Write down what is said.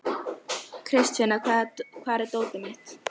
Kristvina, hvar er dótið mitt?